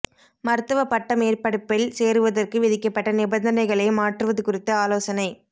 மருத்துவ பட்ட மேற்படிப்பில் சேருவதற்கு விதிக்கப்பட்ட நிபந்தனைகளை மாற்றுவது குறித்து ஆலோசனை